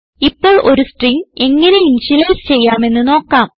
ഇപ്പോൾ ഒരു സ്ട്രിംഗ് എങ്ങനെ ഇനിഷ്യലൈസ് ചെയ്യാമെന്ന് നോക്കാം